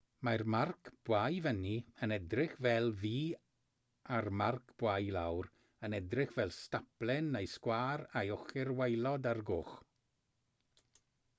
mae'r marc bwa i fyny yn edrych fel v a'r marc bwa i lawr yn edrych fel staplen neu sgwâr â'i ochr waelod ar goll